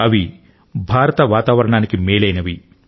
అవి భారత వాతావరణానికి మేలైనవి